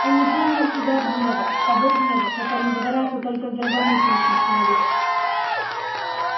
он не помнил себя от гнева того гнева которым загорается только здравомыслящий человек